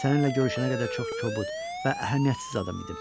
Səninlə görüşənə qədər çox kobud və əhəmiyyətsiz adam idim.